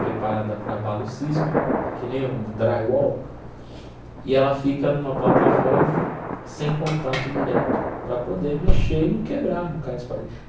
preparada para abalo sísmico, que nem um drywall, e ela fica numa plataforma sem contato direto, para poder mexer e não quebrar, não cair as paredes.